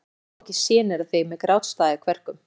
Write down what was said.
Ég má ekki sjenera þig með grátstaf í kverkum.